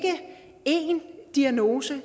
diagnose